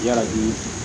Yarabi